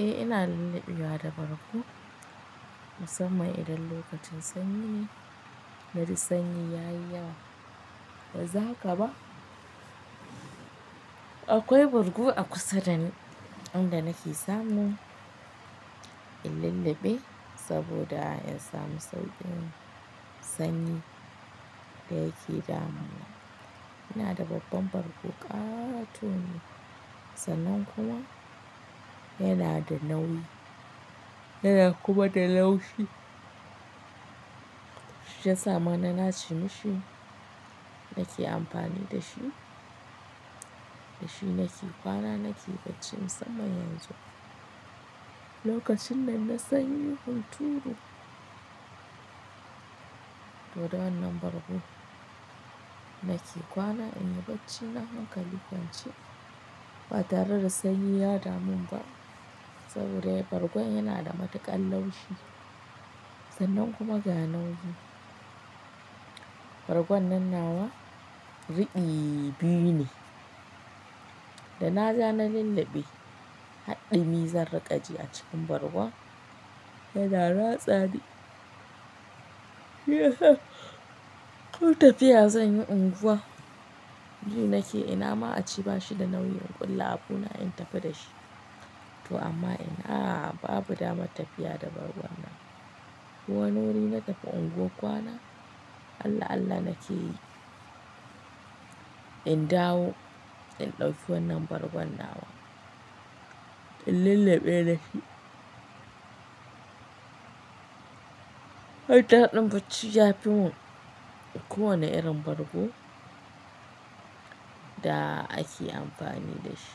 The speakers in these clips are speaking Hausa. Eh ina lulluɓewa da bargo musamman idan lokacin sanyi, nenaji sanyi ya yi yawa, yanzu haka ma. Akwai bargo a kusa da inda nake samu in lullube saboda in samu sauƙin sanyi da yake damuna. Ina da babban bargo ƙatone sannan kuma yana da nauyi yana kuma da laushi. Shiyasa ma na nace mishi nake amfani da shi, da shi nake kwana nake bacci musamman yanzu lokacin nan na sanyin hunturu. To da wannan bargo nake kwana in yi bacci na hankali kwance ba tare da sanyi ya daman ba saboda bargon yana da matuƙar laushi sannan kuma ga nauyi. Bargon nan nawa riɓi biyu ne da na ja na lulluɓe har ɗumi zan riƙa ji a cikin bargon yana ratsani. Ko tafiya zanyi unguwa, ji nake ina ma a ce bashi da nauyi in ƙulla abuna in tafi dashi to amma ina babu damar tafiya da bargon nan. Ko wani wuri na tafi unguwar kwana Allah-Allah nake yi in dawo in ɗauki wannan bargon nawa in lulluɓe dashi. Har daɗin bacci ya fi mun ko wane irin bargo da ake amfani da shi.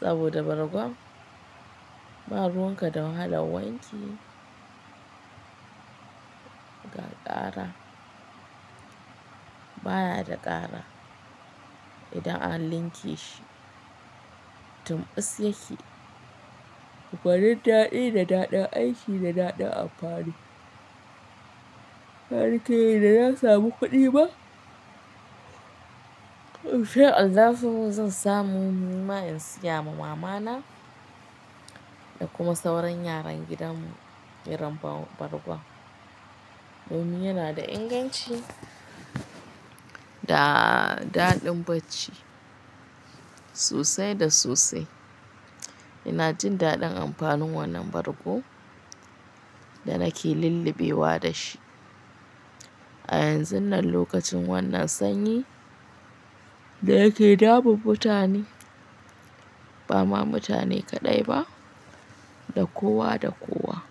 Saboda bargon ba ruwanka da wahalan wanki, ga ƙara baya da ƙara idan an linke shi, tun ɓus yake. Gwanin daɗi da daɗin aiki da daɗin amfani. Har kai na ya samu kuɗi ba? In sha Allahu zan samu nima in siya ma mamana da kuma sauran yaran gidanmu irin bargon domin yana da inganci da daɗin bacci sosai da sosai. Ina jin daɗin amfanin wannan bargu da nake lullubewa da shi a yanzun nan lokacin wannan sanyi da yake damun mutane, bama mutane kaɗai ba da kowa da kowa.